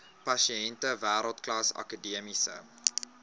pasiënte wêreldklas akademiese